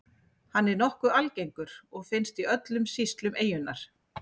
Hann er nokkuð algengur og finnst í öllum sýslum eyjunnar.